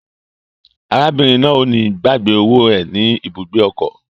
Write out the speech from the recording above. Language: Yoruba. Arábìnrin náà o ni gbàgbé owó è ní ibùgbé ọkọ.